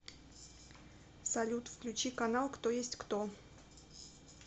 салют включи канал кто есть кто